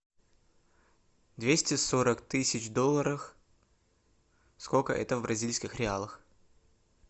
двести сорок тысяч долларов сколько это в бразильских реалах